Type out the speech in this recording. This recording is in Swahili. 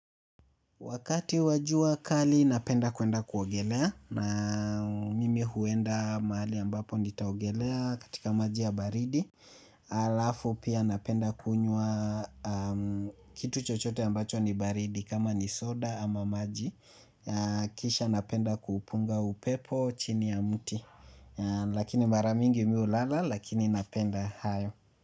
Wakati wa jua kali napenda kuenda kuogelea na mimi huenda mahali ambapo nitaogelea katika maji ya baridi. Alafu pia napenda kunywa kitu chochote ambacho ni baridi kama ni soda ama maji. Kisha napenda kupunga upepo chini ya mti lakini mara mingi mi hulala lakini napenda hayo.